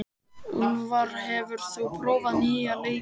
Úlfar, hefur þú prófað nýja leikinn?